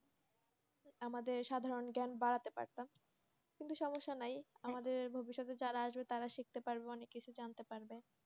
আমাদের সাধারণ জ্ঞান বারাতে পারতাম কিন্তু সমস্যা নাই আমাদের ভবিষ্যতে যারা আসবে তারা শিখতে পারবে অনেক কিছুই জানতে পারবে।